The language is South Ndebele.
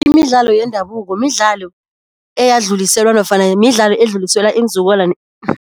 Imidlalo yendabuko midlalo eyadluliselwa nofana midlalo edluliselwa iinzukulwana